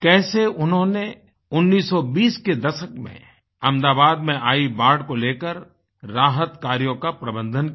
कैसे उन्होंने 1920 के दशक में अहमदाबाद में आयी बाढ़ को लेकर राहत कार्यों का प्रबंधन किया